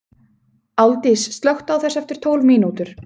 Álfdís, slökktu á þessu eftir tólf mínútur.